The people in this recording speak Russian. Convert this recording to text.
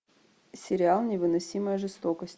сериал невыносимая жестокость